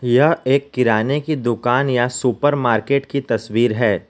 यह एक किराने की दुकान या सुपरमार्केट की तस्वीर है।